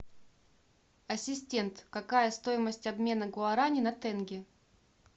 ассистент какая стоимость обмена гуарани на тенге